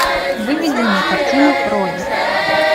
выведи мне картину ровер